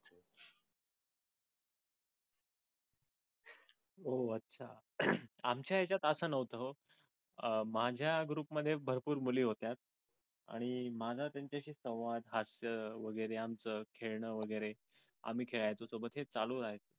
आमच्या ह्याच्यात असं नव्हतं हे अह माझ्या group मध्ये भरपूर मुली होत्या. आणि माझा त्यांच्याशी संवाद हास्य वगैरे आमचं खेळण वगैरे. आम्ही खेळायचो सोबत. हे चालू राहायचं.